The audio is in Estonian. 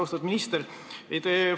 Austatud minister!